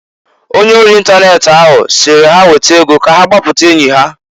Ọnye ori ịntanet ahụ sịrị ha ha weta ego k'agbaputa enyi ha.